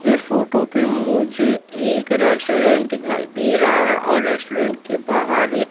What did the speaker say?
इस फोटो पे मुझे एक रेस्टोरेंट दिखाई दे रहा है और रेस्टोरेंट के बाहर एक--